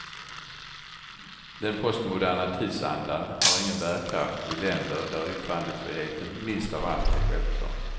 Den postmoderna tidsandan har ingen bärkraft i länder där yttrandefriheten minst av allt är självklar.